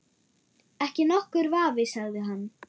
Ekki nokkur vafi sagði hann.